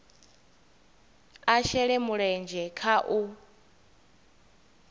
a shele mulenzhe kha u